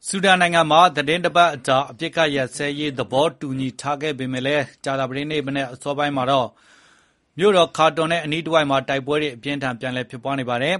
ဆူဒန်နိုင်ငံမှာ သီတင်းတပတ်ကြာ အပစ်အခတ် ရပ်စဲရေး သဘောတူညီထားပေမဲ့ ကြာသပတေးနေ့ အစောပိုင်းမှာတော့ မြို့တော် ခါတွန်ရဲ့ အနီးတစ်ဝိုက်မှာ တိုက်ပွဲတွေ အပြင်းအထန် ပြန်လည်ဖြစ်ပွားနေပါတယ်